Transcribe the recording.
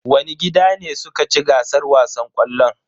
Wani gida ne suka ci gasar wasan ƙwallon?